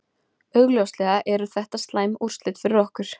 Augljóslega eru þetta slæm úrslit fyrir okkur.